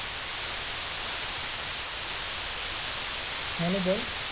Hello বল